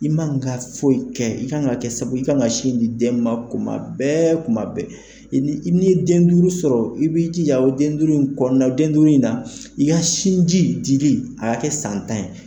I ma ka foyi kɛ, i ka kan ka kɛ sababu i ka kan ka sin di den ma kuma bɛɛ kuma bɛɛ, i n'i ye den duuru sɔrɔ, i b'i jija o den duuru in kɔnɔnana o den duuru in na i ka sinji dili a ka kɛ san tan ye.